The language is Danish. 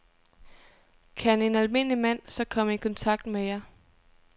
Kan en almindelig mand så komme i kontakt med jer?